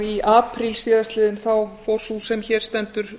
í apríl síðastliðnum fór sú sem hér stendur